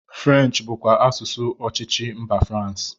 French bụkwa asụsụ ọchịchị mba France